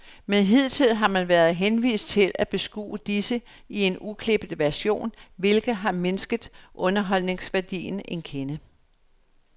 Men hidtil har man været henvist til at beskue disse i en uklippet version, hvilket har mindsket underholdningsværdien en kende.